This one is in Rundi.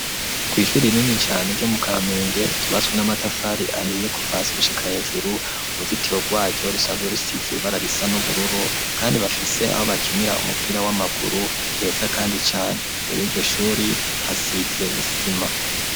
kw'ishuri rinini cane ryo mu kamenge ryubatswe n'amatafari ahiye kuva hasi gushika hejuru uruzitiro rwaryo rusanzwe rusize ibara risa n'ubururu kandi bafise aho bakinira umupira w'amaguru heza kandi cane rero iryo shuri hasize isima.